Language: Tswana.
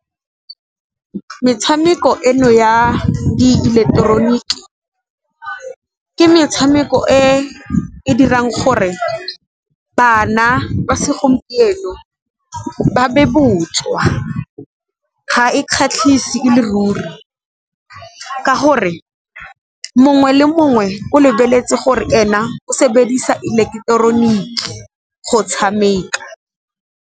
Metshameko eno ya diileketeroniki, ke metshameko e e dirang gore bana ba segompieno ba be botswa, ga e kgatlhise e le ruri ka gore mongwe le mongwe o lebeletse gore ena o sebedisa ileketeroniki go tshameka.